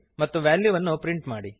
ಮತ್ತು ವ್ಯಾಲ್ಯುವನ್ನು ಪ್ರಿಂಟ್ ಮಾಡಿರಿ